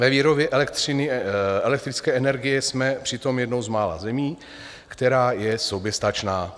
Ve výrobě elektrické energie jsme přitom jednou z mála zemí, která je soběstačná.